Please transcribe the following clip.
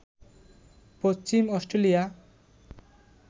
Paschim Australia